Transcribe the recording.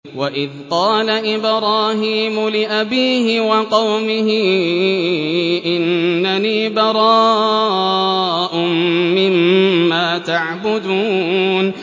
وَإِذْ قَالَ إِبْرَاهِيمُ لِأَبِيهِ وَقَوْمِهِ إِنَّنِي بَرَاءٌ مِّمَّا تَعْبُدُونَ